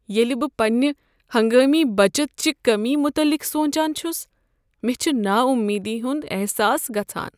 ییٚلہ بہٕ پننہ ہنگٲمی بچتٕ چہِ کٔمی متعلق سونچان چھس مےٚ چھ نا امیدی ہنٛد احساس گژھان۔